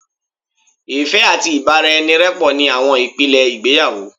Ìfẹ́ àti ìbáraẹnirẹ́pọ̀ ni àwọn ìpìlẹ̀ ìgbéyàwó